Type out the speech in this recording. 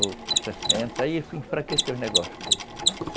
ou sessenta e aí foi enfraquecendo os negócios dele.